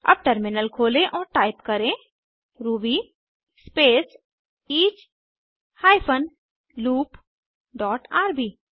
अब टर्मिनल खोलें और टाइप करें ruby space each hyphen loop dot RB